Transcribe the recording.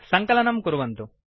सङ्कलनम् कुर्वन्तु